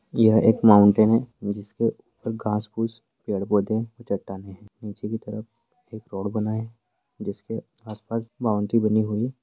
यह एक माउंटेन है जिसपे घांस-फूस पेड़-पौधे चट्टानें हैं नीचे की तरफ एक रोड बना हैं जिसके आसपास बाउंड्री बनी हुई --